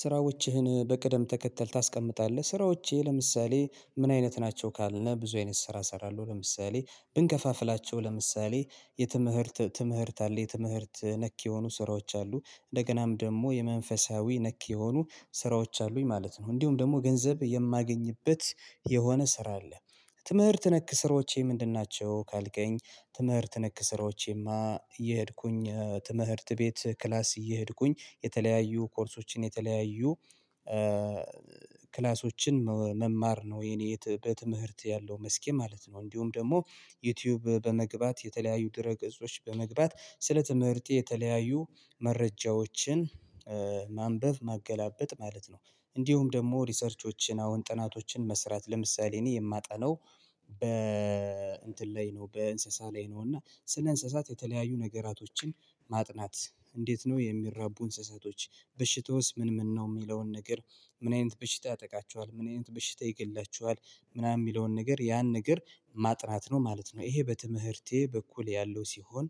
ስራዎችህን በቅደም ተከተል ታስቀምጣለህ ስራዎቼ ለምሳሌ ምን አይነት ናቸው ካልን ብዙ አይነት ስራ እሰራለሁ። ለምሳሌ ብንከፋፍላቸው ለምሳሌ የትምህርት ትምህርት አለ የትምህርት ነክ የሆኑ ስራዎች አሉ እንደገናም ደግሞ የመንፈሳዊ ነክ የሆኑ ስራዎች አሉኝ ማለት ነው እንዲሁም ደግሞ ገንዘብ የማገኝበት የሆነ ስራ አለ። ትምህርት ነክ ስራዎቼ ምንድን ናቸው ካልከኝ? ትምህርት ነክ ስራዎቼማ እየሄድኩኝ ትምህርት ቤት ክላስ እየሄድኩኝ የተለያዩ ኮርሶችን የተለያዩ ክላሶችን መማር ነው የኔ በትምህርት ያለው መስኬ ማለት ነው። እንዲሁም ደግሞ ዩቲዩብ በመግባት የተለያዩ ድረ ገጾች በመግባት ስለ ትምህርቴ የተለያዩ መረጃዎችን ማንበብ ማገላበጥ ማለት ነው። እንዲሁም ደግሞ ሪሰርቾችን አሁን ጥናቶችን መስራት ለምሳሌ እኔ የማጠናው በ እንትን ላይ ነው። በእንስሳ ላይ ነው። እና ስለ እንስሳት የተለያዩ ነገራቶችን ማጥናት እንዴት ነው የሚራቡ እንስሳቶች? በሽታውስ ምን ምን ነው የሚለውን ነገር? ምን አይነት በሽታ ያጠቃቸኋል ምን አይነት በሽታ ይገላቸኋል? ምናምን የሚለውን ነገር ያን ነገር ማጥናት ነው ማለት ነው። ይሄ በትምህርቴ በኩል ያለው ሲሆን።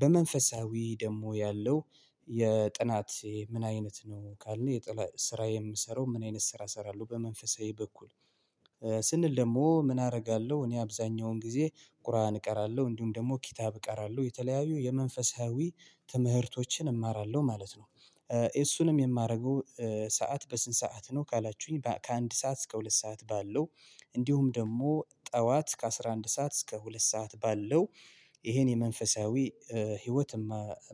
በመንፈሳዊ ደግሞ ያለው የጥናት ምን አይነት ነው ካልን? የጥናት ስራ የምሰራው ምን አይነት ስራ እሰራለሁ በመንፈሳዊ በኩል? ስንል ደግሞ ምን አደርጋለሁ? እኔ አብዛኛውን ጊዜ ቁርአን እቀራለሁ እንዲሁም ደግሞ ኪታብ እቀራለሁ የተለያዩ የመንፈሳዊ ትምህርቶችን እማራለሁ ማለት ነው። እሱንም የማደርገው ሰዓት በስንት ሰዓት ነው ካላችሁኝ? ከአንድ ሰዓት እስከ ሁለት ሰዓት ባለው እንዲሁም ደግሞ ጠዋት ከአስራ አንድ ሰዓት እስከ ሁለት ሰዓት ባለው ይሄን የመንፈሳዊ ህይወት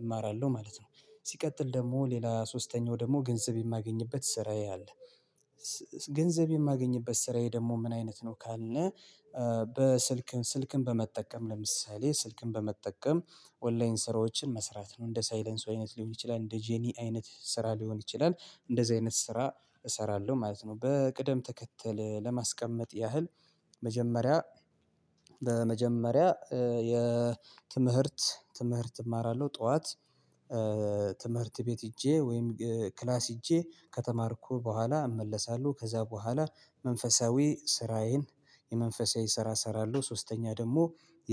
እማራለሁ ማለት ነው። ሲቀጥል ደግሞ ሌላ ሶስተኛው ደግሞ ገንዘብ የማገኝበት ስራዬ አለ። ገንዘብ የማገኝበት ስራዬ ደግሞ ምን አይነት ነው ካልን? በስልክም ስልክን በመጠቀም ለምሳሌ ስልክን በመጠቀም ኦንላይን ስራዎችን መስራት ነው። እንደ ሳይለንሶ አይነት ሊሆን ይችላል። እንደ ጀኒአ አይነት ስራ ሊሆን ይችላል። እንደዚህ አይነት ስራ እሰራለሁ ማለት ነው። በቅደም ተከተል ለማስቀመጥ ያህል። መጀመሪያ በመጀመሪያ የትምህርት ትምህርት እማራለሁ ጠዋት ትምህርት ቤት ሂጄ ወይም ክላስ ሂጄ ከተማርኩ በኋላ እመለሳለሁ ከዛ በኋላ መንፈሳዊ ስራዬን የመንፈሳዊ ስራ እሰራለሁ ሶስተኛ ደግሞ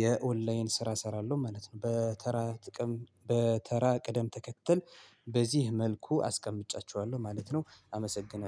የኦንላይን ስራ እሰራለሁ ማለት ነው። በተራ ጥቅም በተራ ቅደም ተከተል በዚህ መልኩ አስቀምጫቸኋለሁ ማለት ነው። አመሰግናለው